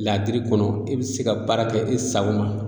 Ladiri kɔnɔ e be se ka baara kɛ i sago ma